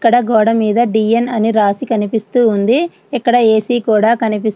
ఇక్కడ గోడ మీద డిఎన్ అని రాసి కనిపిస్తూ ఉంది. ఇక్కడ ఏ_సి కూడా కనిపిస్తూ ఉంది.